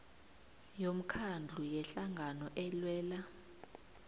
yomkhandlu yehlangano elwela